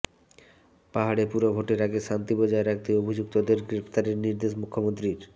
পাহাড়ে পুরভোটের আগে শান্তি বজায় রাখতে অভিযুক্তদের গ্রেফতারের নির্দেশ মুখ্যমন্ত্রীর